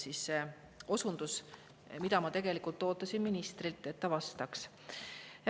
See oli osundus, mida ma tegelikult ootasin ministrilt, et ta vastaks.